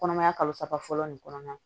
Kɔnɔmaya kalo saba fɔlɔ nin kɔnɔna na